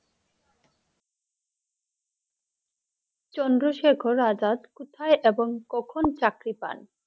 চন্দ্রশেখর আজাদ কোথায় এবং কখন চাকরি পান?